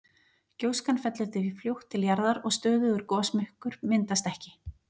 gjóskan fellur því fljótt til jarðar og stöðugur gosmökkur myndast ekki